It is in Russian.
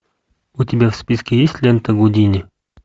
у тебя в списке есть лента гудини